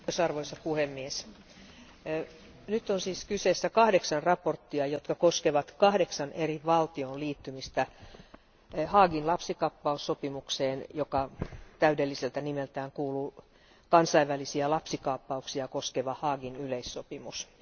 Arvoisa puhemies, nyt on kyseessä kahdeksan mietintöä, jotka koskevat kahdeksan eri valtion liittymistä Haagin lapsikaappaussopimukseen, joka täydelliseltä nimeltään kuuluu kansainvälisiä lapsikaappauksia koskeva Haagin yleissopimus.